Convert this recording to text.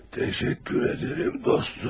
Təşəkkür edirəm, dostum.